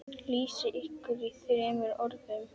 Lýsið ykkur í þremur orðum.